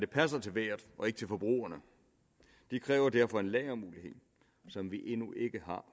passer til vejret og ikke til forbrugerne det kræver derfor en lagermulighed som vi endnu ikke har